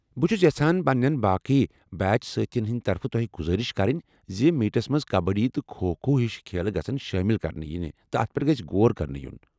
بہٕ چھس یژھان پننٮ۪ن باقی بیچ سٲتھین ہٕنٛدِ طرفہٕ تۄہہ گزارش کرٕنۍ زِ میٖٹس منٛز کبڈی تہٕ کھو کھو ہِشہٕ کھیل شٲمل کرنہٕ یِنہِ تہٕ تتھ پٮ۪ٹھ گژھِ غور كرنہٕ یُن ۔